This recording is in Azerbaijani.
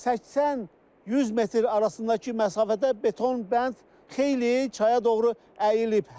80-100 metr arasındakı məsafədə beton bənd xeyli çaya doğru əyilib.